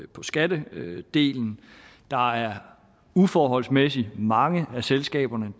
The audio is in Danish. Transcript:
på skattedelen der er uforholdsmæssig mange af selskaberne